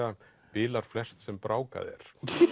bilar flest sem brákað er